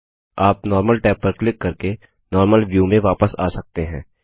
आप normal tab पर click करके नॉर्मल व्यू में वापस आ सकते हैं